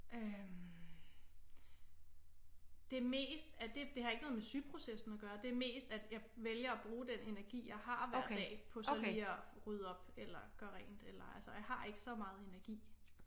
Øh det er mest at det har ikke noget med sy processen at gøre det er mest at jeg vælger at bruge den energi jeg har hver dag på så lige og rydde op eller gøre rent eller altså jeg har ikke så meget energi